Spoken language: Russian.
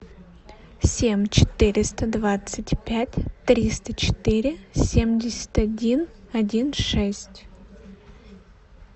семь четыреста двадцать пять триста четыре семьдесят один один шесть